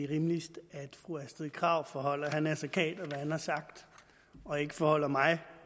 rimeligt at fru astrid krag forholder herre naser khader hvad han har sagt og ikke forholder mig